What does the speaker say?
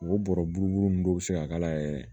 O bɔrɔ buru buru nunnu dɔw be se ka k'a la yɛrɛ